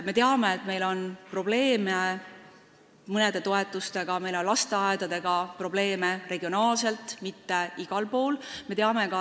Me teame, et meil on probleeme mõne toetusega, meil on regionaalselt, mitte igal pool, probleeme lasteaedadega.